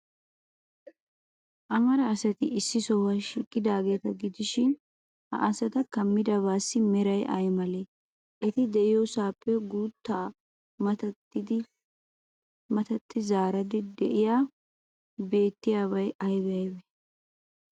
Amara asati issi sohuwan shiiqidaageeta gidishin, ha asata kammidabaassi meray ay malee? Eti de'iyoosappe guuttaa matattidinne zardda''idi beettiyaabati aybee aybee?